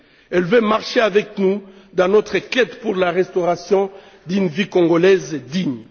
Elle veut marcher avec nous dans notre quête pour la restauration d'une vie congolaise digne.